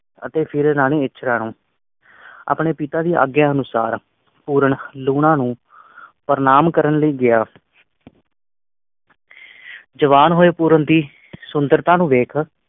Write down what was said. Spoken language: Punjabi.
ਅਤੇ ਫਿਰ ਰਾਣੀ ਇੱਛਰਾਂ ਨੂੰ ਆਪਣੇ ਪਿਤਾ ਦੀ ਆਗਿਆ ਅਨੁਸਾਰ ਪੂਰਨ ਲੂਣਾ ਨੂੰ ਪ੍ਰਣਾਮ ਕਰਨ ਲਈ ਗਯਾ ਜਵਾਨ ਹੋਏ ਪੂਰਨ ਦੀ ਸੁੰਦਰਤਾ ਨੂੰ ਵੇਖ